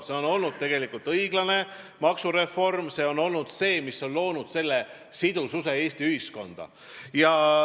See on olnud tegelikult õiglane maksureform, see on olnud see, mis on toonud sidususe Eesti ühiskonda.